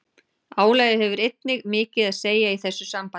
Álagið hefur einnig mikið að segja í þessu sambandi.